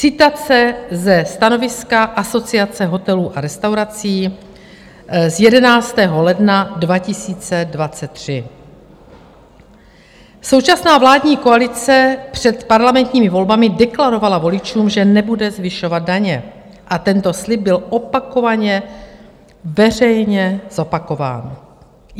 Citace ze stanoviska Asociace hotelů a restaurací z 11. ledna 2023: "Současná vládní koalice před parlamentními volbami deklarovala voličům, že nebude zvyšovat daně, a tento slib byl opakovaně veřejně zopakován.